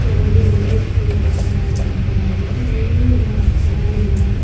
ಕೆಳಗೆ ಇಳಿಯುತ್ತಿರುವುದನ್ನು ನೋಡಬಹುದಾಗಿದೆ. ಇನ್ನು ಜನಕೆಲವು ಜನರು--